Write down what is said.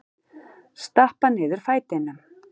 Stappa niður fætinum.